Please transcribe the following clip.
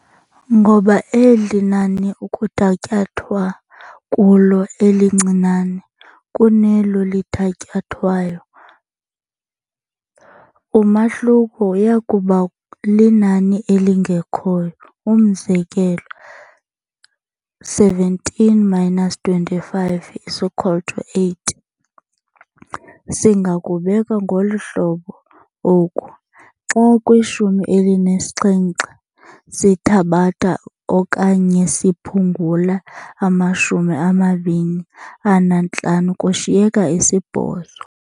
Ngoba eli nani ukuthatyathwa kulo elincinane kunelo lithatyathwayo, umahluko uyakuba linani elingekhoyo. Umzekelo, 17 minus 25 is equal to 8. Singakubeka ngolu hlobo oku, "xa kwishumi elinesixhenxe sithabatha okanye siphungula amashumi amabini anantlanu kushiyeka isibhozo."